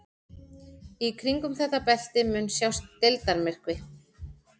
Í kringum þetta belti mun sjást deildarmyrkvi.